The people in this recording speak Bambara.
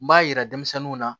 N b'a yira denmisɛnninw na